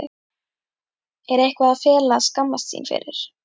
Er eitthvað að fela eða skammast sín fyrir?